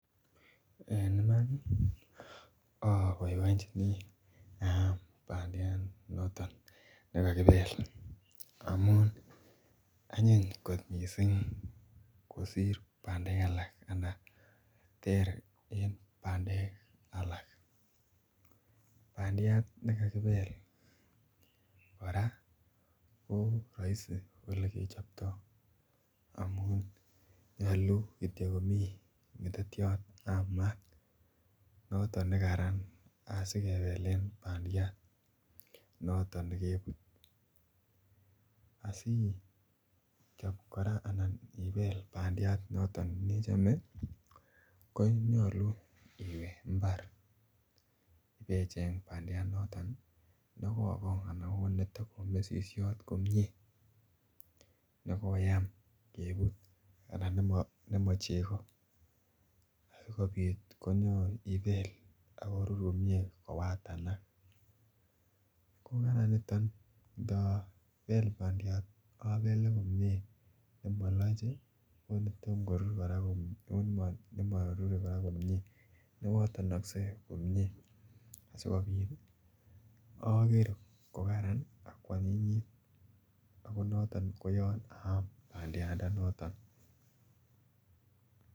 En Iman oboibonjeni aam bandiat noton nekakibel amun anyiny kot mising kosir bandek alak anan ter en bandek alak bandiat nekakibel kora ko roisi olekechobto amun nyolu Kityo komi ngetetyot ab maat noton nekaran asikebelen bandiat noton ne kebut asi ichob kora anan ibel bandiat noton ne nechome konyolu iwe mbar ibecheng bandiandanato nekokong anan neto ko mesisyot komie nekoyam kebut anan Nemo cheko ak kobit konyon ibel ak korur komie kowatanak ko mara notok ndabel bandiat abele komie komoloch ii nemotorur anan newotonkse komie ageer ko Karan ak koanyinyit ko noton ne Yoon aam bandiandanato